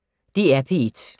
DR P1